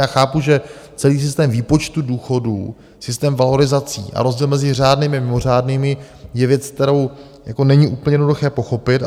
Já chápu, že celý systém výpočtu důchodů, systém valorizací a rozdíl mezi řádnými a mimořádnými je věc, kterou není úplně jednoduché pochopit.